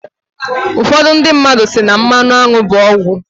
ụfọdụ ndị mmadu si na "mmanụ aṅụ bụ ọgwụ"